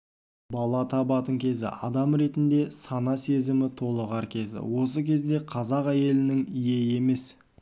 бала табатын кезі адам ретінде сана-сезімі толығар кезі осы кезінде қазақ әйелінің ие емес